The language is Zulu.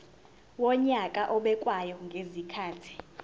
wonyaka obekwayo ngezikhathi